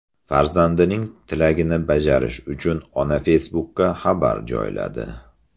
Farzandining tilagini bajarish uchun ona Facebook’ka xabar joyladi.